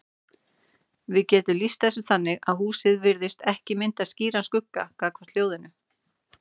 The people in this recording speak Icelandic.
Við getum lýst þessu þannig að húsið virðist ekki mynda skýran skugga gagnvart hljóðinu.